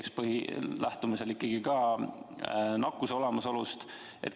Kas peaks lähtuma ikkagi ka nakkuse olemasolust?